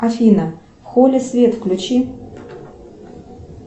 афина в холле свет включи